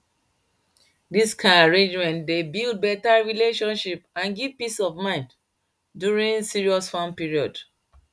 this kind arrangement dey build better relationship and give peace of mind during serious farm period